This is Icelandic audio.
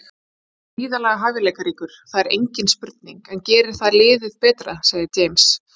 Hann er gríðarlega hæfileikaríkur, það er engin spurning, en gerir það liðið betra? segir James.